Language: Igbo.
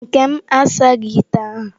Nkem asaghị ite ahụ.